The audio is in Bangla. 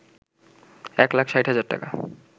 ১ লাখ ৬০ হাজার টাকা